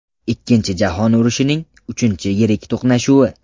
Ikkinchi jahon urushining uchinchi yirik to‘qnashuvi.